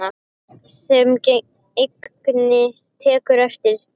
Sem enginn tekur eftir.